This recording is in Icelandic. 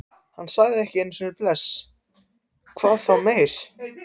Hann sagði ekki einu sinni bless, hvað þá meir.